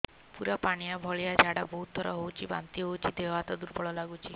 ପୁରା ପାଣି ଭଳିଆ ଝାଡା ବହୁତ ଥର ହଉଛି ବାନ୍ତି ହଉଚି ଦେହ ହାତ ଦୁର୍ବଳ ଲାଗୁଚି